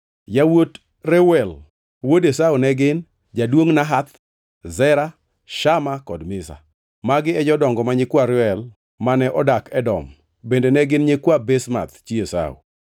Yawuot Reuel wuod Esau ne gin: Jaduongʼ Nahath, Zera, Shama kod Miza. Magi e jodongo ma nyikwa Reuel mane odak Edom; bende ne gin nyikwa Basemath chi Esau.